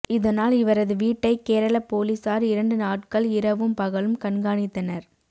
இதனால் இவரது வீட்டை கேரள போலீசார் இரண்டு நாட்கள் இரவும் பகலும் கண்காணித்தனர்